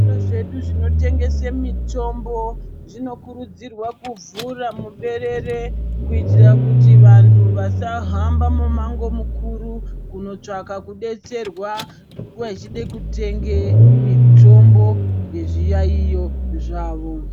Zviro zveshe zvinotengesa mitombo zvinokurudzirwa kuvhura muberere kuitira kuti vantu vasahamba mumango mukuru kundotsvaka kudetserwa vachida kutenga mitombo yezviyaiyo zvawo.